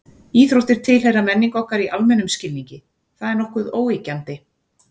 Íþróttir tilheyra menningu okkar í almennum skilningi, það er nokkuð óyggjandi.